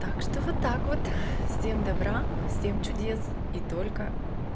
так что вот так вот всем добра всем чудес и только